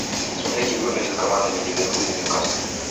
смотреть игру между командами ливерпуль ньюкасл